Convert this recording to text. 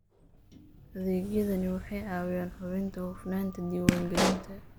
Adeegyadani waxay caawiyaan hubinta hufnaanta diiwaangelinta.